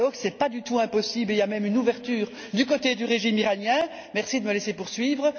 Ce n'est pas du tout impossible, il y a même une ouverture du côté du régime iranien merci de me laisser poursuivre.